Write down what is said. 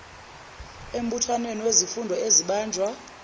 embuthanweni wezifundo ezibanjwa